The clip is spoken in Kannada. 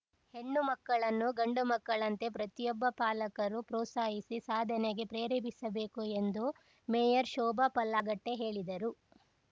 ಹೆಣ್ಣು ಮಕ್ಕಳನ್ನು ಗಂಡು ಮಕ್ಕಳಂತೆ ಪ್ರತಿಯೊಬ್ಬ ಪಾಲಕರೂ ಪ್ರೋತ್ಸಾಹಿಸಿ ಸಾಧನೆಗೆ ಪ್ರೇರೇಪಿಸಬೇಕು ಎಂದು ಮೇಯರ್‌ ಶೋಭಾ ಪಲ್ಲಾಗಟ್ಟೆಹೇಳಿದರು